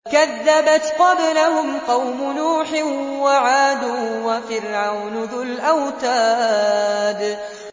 كَذَّبَتْ قَبْلَهُمْ قَوْمُ نُوحٍ وَعَادٌ وَفِرْعَوْنُ ذُو الْأَوْتَادِ